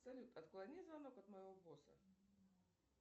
салют отклони звонок от моего босса